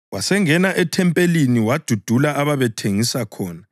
Wasengena ethempelini wadudula ababethengisa khona